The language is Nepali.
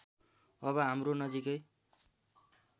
अब हाम्रो नजिकै